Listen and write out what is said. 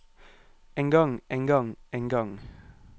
engang engang engang